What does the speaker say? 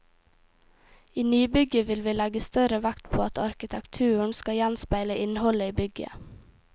I nybygget vil vi legge større vekt på at arkitekturen skal gjenspeile innholdet i bygget.